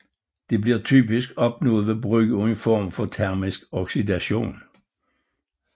Det bliver typisk opnået ved brug af en form for termisk oxidation